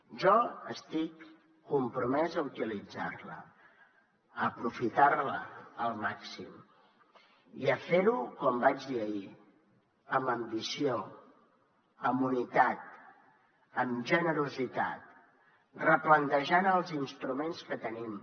jo estic compromès a utilitzar la a aprofitar la al màxim i a fer ho com vaig dir ahir amb ambició amb unitat amb generositat replantejant els instruments que tenim